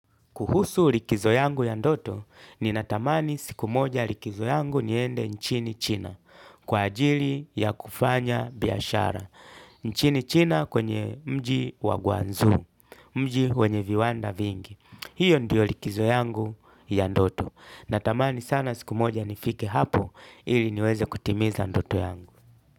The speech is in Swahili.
Kuhusu likizo yangu ya ndoto, ninatamani siku moja likizo yangu niende nchini china, kwa ajili ya kufanya biashara. Nchini china kwenye mji wa Guanzhou, mji wenye viwanda vingi. Hiyo ndio likizo yangu ya ndoto. Natamani sana siku moja nifike hapo ili niweze kutimiza ndoto yangu.